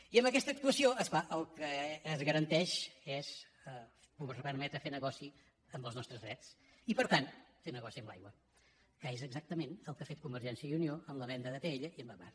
i amb aquesta actuació és clar el que es garanteix és permetre fer negoci amb els nostres drets i per tant fer negoci amb l’aigua que és exactament el que ha fet convergència i unió amb la venda d’atll i amb agbar